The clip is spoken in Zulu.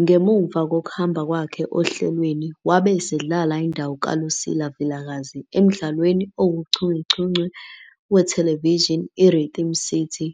Ngemuva kokuhamba kwakhe ohlelweni, wabe esedlala indawo ka'Lucilla Vilakazi 'emdlalweni owuchungechunge wethelevishini "iRhythm City.